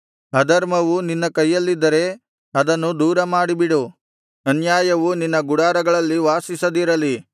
ಅಧರ್ಮವು ನಿನ್ನ ಕೈಯಲ್ಲಿದ್ದರೆ ಅದನ್ನು ದೂರಮಾಡಿಬಿಡು ಅನ್ಯಾಯವು ನಿನ್ನ ಗುಡಾರಗಳಲ್ಲಿ ವಾಸಿಸದಿರಲಿ